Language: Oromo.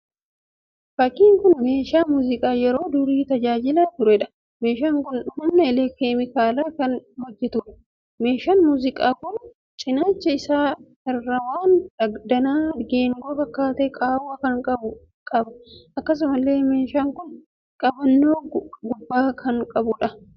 Fakkiin kun meeshaa muuziqaa yeroo durii tajaajilaa tureedha. Meeshaan kun humna keemikaalaan kan hojjetuudha. Meeshaan muuziqaa kun cinaacha isaa irraa waan danaa geengoo fakkaatee qaawwaa kan qabu qaba. Akkasumallee meeshaan kun qabannoo gubbaa isaa irraa qaba.